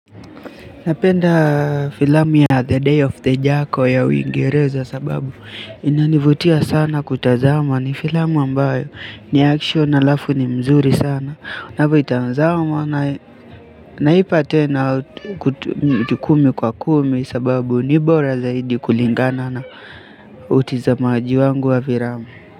Napenda filamu ya the day of the jako ya uingereza sababu inanivutia sana kutazama ni filamu ambayo ni action alafu ni mzuri sana unavyo itazama na naipa ten kumi kwa kumi sababu ni bora zaidi kulingana na utizamaji wangu wa filamu.